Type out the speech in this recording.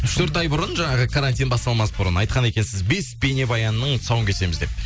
үш төрт ай бұрын жаңағы карантин басталмас бұрын айтқан екенсіз бес бейнебаянның тұсауын кесеміз деп